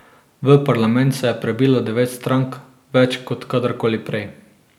V parlament se je prebilo devet strank, več kot kadarkoli prej.